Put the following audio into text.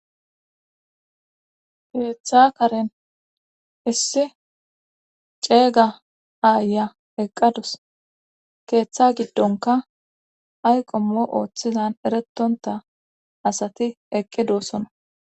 Keeththa karen issi ceega aaya eqqadus keeththa giddonka ayqommo ooththizan eretonta asati eqqidoossona